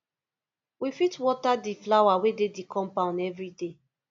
we fit water di flower wey dey di compound everyday